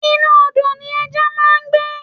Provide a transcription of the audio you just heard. Inú Odò ni ẹja máa ń gbé.